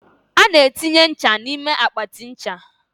a na-etinye nche n'ime akpatị ncha.